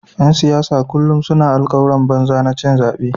‘Yan siyasa kullum suna yin alkawuran banza na cin zabe.